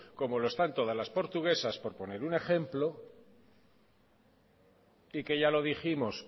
como lo están todas las portuguesas por poner un ejemplo y que ya lo dijimos